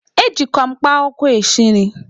Ejikwa mkpa akwụkwọ esi nri.